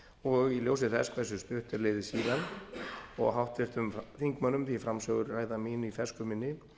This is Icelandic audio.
og í ljósi þess hversu stutt er liðið síðan og háttvirtum þingmönnum því framsöguræða mín í fersku minni